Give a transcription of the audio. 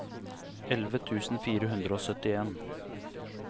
elleve tusen fire hundre og syttien